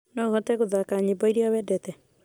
no ũhote gũthaaka nyĩmbo iria wendete?